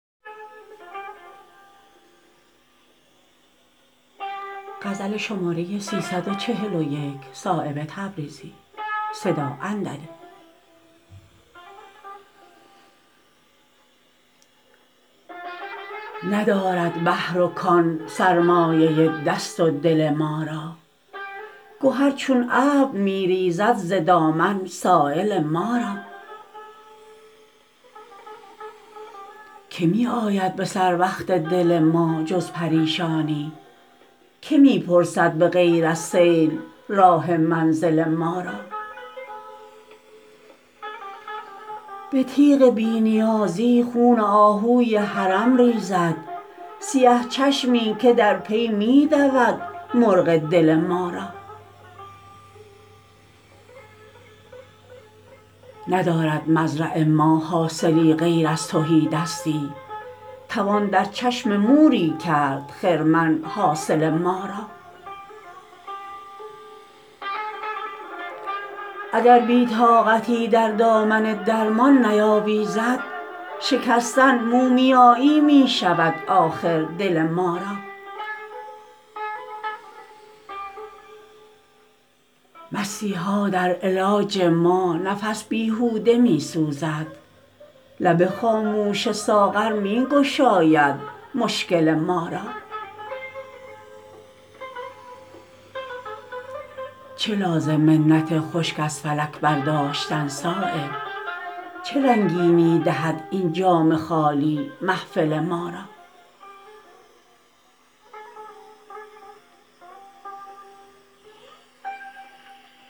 ندارد بحر و کان سرمایه دست و دل ما را گهر چون ابر می ریزد ز دامن سایل ما را که می آید به سروقت دل ما جز پریشانی که می پرسد به غیر از سیل راه منزل ما را به تیغ بی نیازی خون آهوی حرم ریزد سیه چشمی که در پی می دود مرغ دل ما را ندارد مزرع ما حاصلی غیر از تهیدستی توان در چشم موری کرد خرمن حاصل ما را اگر بی طاقتی در دامن درمان نیاویزد شکستن مومیایی می شود آخر دل ما را مسیحا در علاج ما نفس بیهوده می سوزد لب خاموش ساغر می گشاید مشکل ما را چه لازم منت خشک از فلک برداشتن صایب چه رنگینی دهد این جام خالی محفل ما را